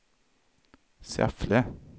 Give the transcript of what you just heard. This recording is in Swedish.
Säffle